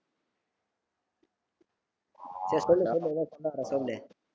சேரி சொல்லு சொல்லு ஏதோ சொல்லவர்றே